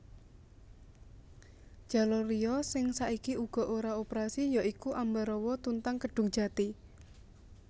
Jalur liya sing saiki uga ora operasi ya iku Ambarawa Tuntang Kedungjati